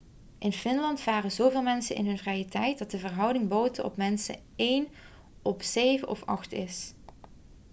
in finland varen zoveel mensen in hun vrije tijd dat de verhouding boten op mensen één op zeven of acht is